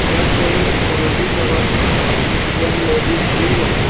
यह कोई अंग्रेजी दवाखाना है यह मेडिसिन है।